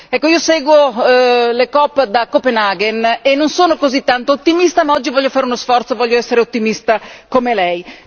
Ecco io seguo le coop da Copenaghen e non sono così tanto ottimista, ma oggi voglio fare uno sforzo, voglio essere ottimista come lei.